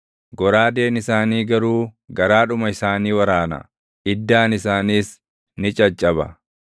Goraadeen isaanii garuu garaadhuma isaanii waraana; iddaan isaaniis ni caccaba.